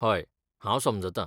हय, हांव समजतां.